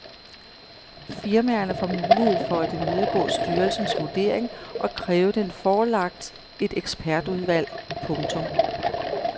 Firmaerne får mulighed for at imødegå styrelsens vurdering og kræve den forelagt et ekspertudvalg. punktum